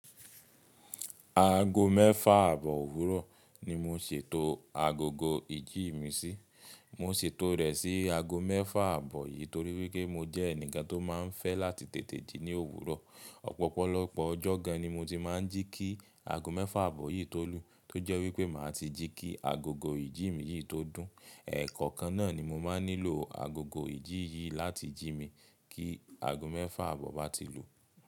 Aago mẹ́fà àbọ̀ òwúrọ̀ ni mo ṣètò agogo ìjí mi sí. Mo ṣètò rẹ̀ sí aago mẹ́fà àbọ̀ yìí torí wípé mo jẹ́ ẹnìkan tó máa ń fẹ́ láti tètè jí ní òwúrọ̀. Ọ̀pọ̀lọpọ̀ ọjọ́ gan ni mo ti máa ń jí kí aago mẹ́fà àbọ̀ yìí tó lù, tó jẹ́ wípé màá ti jí kí agogo ìjí mi yìí tó dùn. Ẹ̀ẹ̀kọ̀kan náà ni mo máa nílò agogo ìjí yìí láti jí mi kí aago mẹ́fà àbọ̀ bá ti lù.